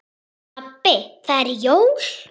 Pabbi það eru jól.